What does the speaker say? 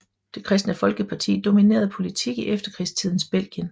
Det Kristne Folkeparti dominerede politik i efterkrigstidens Belgien